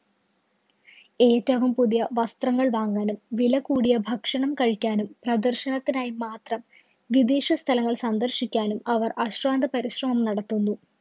ഏറ്റവും പുതിയ വസ്ത്രങ്ങള്‍ വാങ്ങാനും, വില കൂടിയ ഭക്ഷണം കഴിക്കാനും പ്രദര്‍ശനത്തിനായി മാത്രം വിദേശ സ്ഥലങ്ങള്‍ സന്ദര്‍ശിക്കാനും അവര്‍ അശ്രാന്ത പരിശ്രമം നടത്തുന്നു.